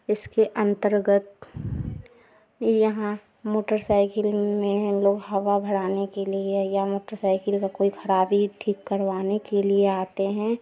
इसके अन्तर्गत यहां मोटरसाइकिल में लोग हवा भराने के लिए या मोटरसाइकिल का कोई खराबी ठीक करवाने के लिए आते हैं।